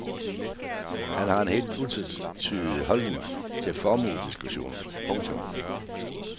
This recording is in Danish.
Han har en helt utvetydig holdning til formuediskussionen. punktum